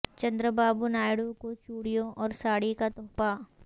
چندرا بابو نائیڈو کو چوڑیوں اور ساڑی کا تحفہ